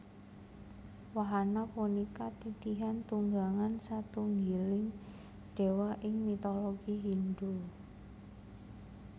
Wahana punika titihan tunggangan satunggiling Déwa ing mitologi Hindhu